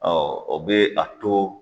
o bɛ a to